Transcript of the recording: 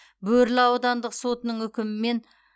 бөрлі аудандық сотының үкімімен